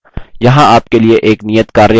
यहाँ आपके लिए एक नियतकार्य है